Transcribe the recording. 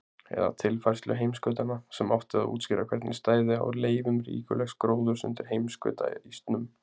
eða tilfærslu heimskautanna, sem átti að útskýra hvernig stæði á leifum ríkulegs gróðurs undir heimskautaísnum.